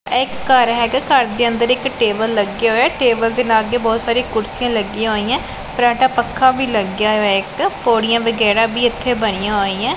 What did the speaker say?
ਐ ਇੱਕ ਘਰ ਹੈਗਾ ਘਰ ਦੇ ਅੰਦਰ ਇੱਕ ਟੇਬਲ ਲੱਗਿਆ ਹੋਇਆ ਟੇਬਲ ਦੇ ਲਾਗੇ ਬਹੁਤ ਸਾਰੀ ਕੁਰਸੀਆਂ ਲੱਗੀਆਂ ਹੋਈਆਂ ਫਰਾਟਾ ਪੱਖਾ ਵੀ ਲੱਗ ਗਿਆ ਹੋਇਆ ਇੱਕ ਪੌੜੀਆਂ ਵਗੈਰਾ ਵੀ ਇੱਥੇ ਬਣੀਆਂ ਹੋਈਆਂ।